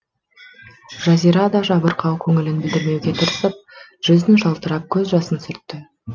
жазира да жабырқау көңілін білдірмеуге тырысып жүзін жалтарып көз жасын сүртті